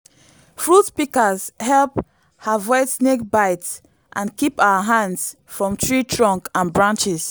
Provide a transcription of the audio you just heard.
fruit pikas hep avoid snake bites and kip our hands from tree trunks and branches